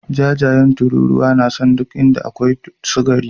Jajayen tururuwa na son duk inda akwai sukari.